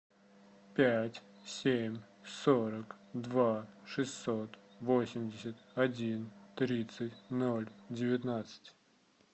пять семь сорок два шестьсот восемьдесят один тридцать ноль девятнадцать